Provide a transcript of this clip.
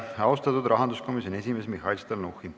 Aitäh, austatud rahanduskomisjoni esimees Mihhail Stalnuhhin!